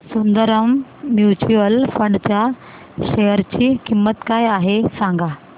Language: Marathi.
सुंदरम म्यूचुअल फंड च्या शेअर ची किंमत काय आहे सांगा